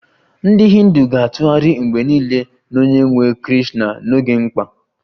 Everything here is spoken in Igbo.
Ndị Hindu ga-atụgharị mgbe niile n'onyenwe Krishna n'oge mkpa